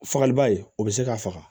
Fagali ba ye o bɛ se k'a faga